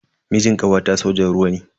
Mijin kawata sojan ruwa ne.